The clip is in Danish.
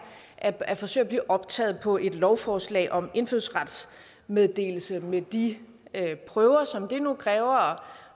at at forsøge at blive optaget på et lovforslag om indfødsrets meddelelse med de prøver som det nu kræver og